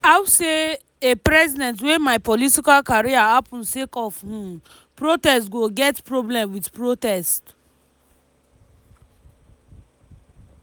“how say a president wey my political career happun sake of um protests go get problem wit protests?